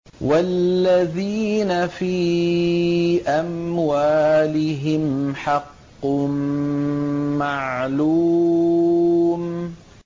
وَالَّذِينَ فِي أَمْوَالِهِمْ حَقٌّ مَّعْلُومٌ